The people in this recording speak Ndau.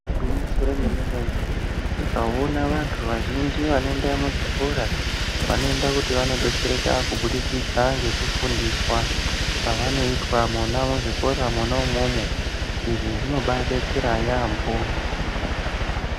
Igwinyiso remene mene ,tikaona antu azhinji anoenda muzvikora vanoenda kuti vandodetsereka kubudikidza ngekufundiswa kwavanoitwa mwona muzvikora mwona imwomwo .Izvi zvinobaadetsera yaampho